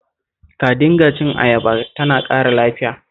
Ka dinga cin ayaba, tana ƙara lafiya